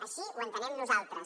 així ho entenem nosaltres